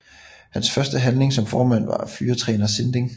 Hans første handling som formand var at fyre træner Sinding